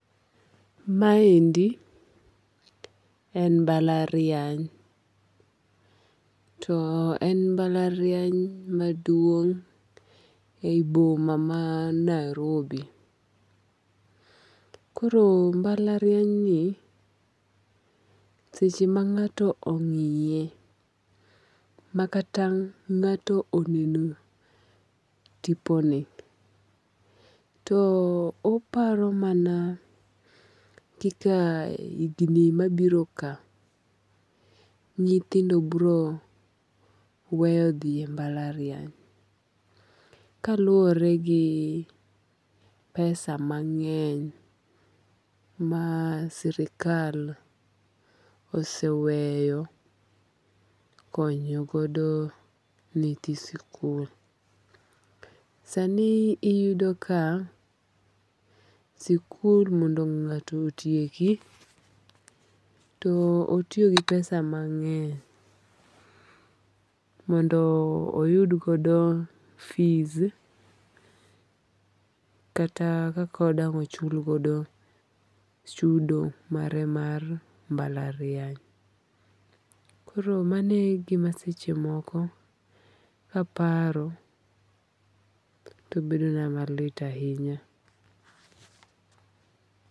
Ma endi en mbalariany. To en mbalariany maduong' e yi boma man Nairobi. Koro mbalariany ni seche ma ng'ato ong'iye makata ng'ato oneno tiponi, to oparo mana kaka higni mabiro ka nyithindo biro weyo dhi e mbalariany kaluwore gi pesa mang'eny ma sirkal oseweyo konyo godo nyithi sikul. Sani iyudo ka sikul mondo ng'ato otieki, to otiyo gi pesa mang'eny mondo oyud godo fees kata kako dang' ochul godo chudo mare mar mbalariany. Koro manegima sechemoko kaparo to bedo na malit ahinya.